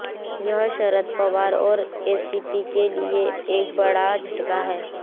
यह शरद पवार और एनसीपी के लिए एक बड़ा झटका था